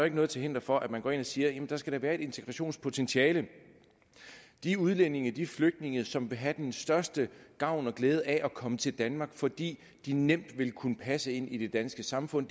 ikke noget til hinder for at man går ind og siger at der da skal være et integrationspotentiale de udlændinge de flygtninge som vil have den største gavn og glæde af at komme til danmark fordi de nemt vil kunne passe ind i det danske samfund